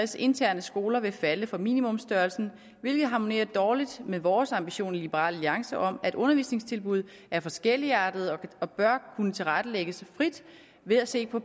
interne skoler vil falde for minimumsstørrelsen hvilket harmonerer dårligt med vores ambition i liberal alliance om at undervisningstilbud er forskelligartede og bør kunne tilrettelægges frit ved at se på